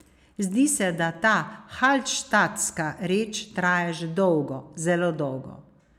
Zdi se, da ta halštatska reč traja že dolgo, zelo dolgo.